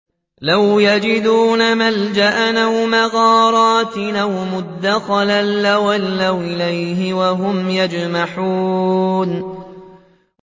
لَوْ يَجِدُونَ مَلْجَأً أَوْ مَغَارَاتٍ أَوْ مُدَّخَلًا لَّوَلَّوْا إِلَيْهِ وَهُمْ يَجْمَحُونَ